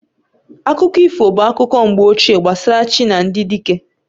Akụkọ ifo bụ akụkọ mgbe ochie gbasara chi na ndị dike